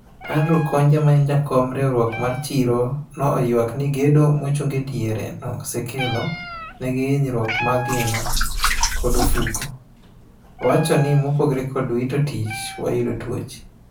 Andrew Konja maen jakom riwruok mar chiro no oywak ni gedo mochung e diere no osekelo negi hinyruok mar ngima kod ofuko. Owchoni "mopogore kod wito tich wayudo tuoche."